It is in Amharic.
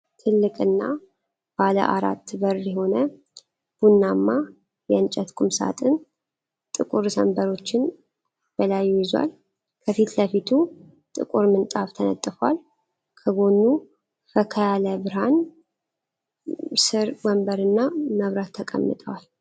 ትልቅና ባለ አራት በር የሆነ ቡናማ የእንጨት ቁምሳጥን ጥቁር ሰንበሮችን በላዩ ይዟል። ከፊት ለፊቱ ጥቁር ምንጣፍ ተነጥፏል፣ ከጎኑ ፈካ ያለ ብርሃን ስር ወንበርና መብራት ተቀምጠዋል።